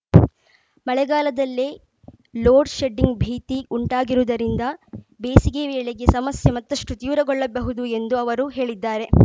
ಮಳೆಗಾಲದಲ್ಲೇ load shedding ಭೀತಿ ಉಂಟಾಗಿರುವುದರಿಂದ ಬೇಸಿಗೆ ವೇಳೆಗೆ ಸಮಸ್ಯೆ ಮತ್ತಷ್ಟು ತೀವ್ರಗೊಳ್ಳಬಹುದು ಎಂದು ಅವರು ಹೇಳಿದ್ದಾರೆ